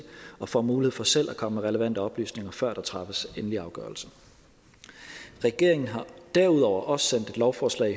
og får mulighed for selv at komme med relevante oplysninger før der træffes endelig afgørelse regeringen har derudover også sendt et lovforslag